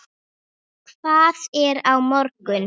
Hvað er á morgun?